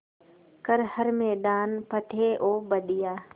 कर हर मैदान फ़तेह ओ बंदेया